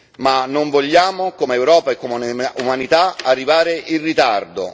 Ma non vogliamo, come Europa e come umanità, arrivare in ritardo.